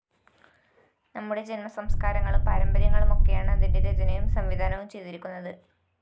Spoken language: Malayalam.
നമ്മുടെ ജന്മസംസ്കാരങ്ങളും പാരമ്പര്യങ്ങളും ഒക്കെയാണ്‌ അതിന്റെ രചനയും സംവിധാനവും ചെയ്തിരിക്കുന്നത്‌